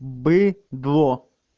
быдло